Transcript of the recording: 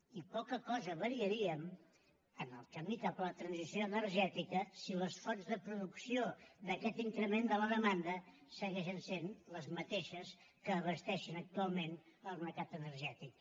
i poca cosa variaríem en el camí cap a la transició energètica si les fonts de producció d’aquest increment de la demanda segueixen sent les mateixes que abasteixen actualment el mercat energètic